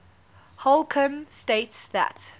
holcombe states that